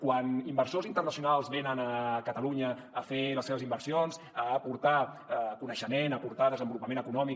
quan inversors internacionals venen a catalunya a fer les seves inversions a aportar coneixement a aportar desenvolupament econòmic